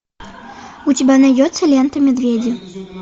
у тебя найдется лента медведи